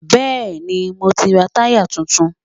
Bẹ́ẹ̀ni, mo ti ra táyà tuntun.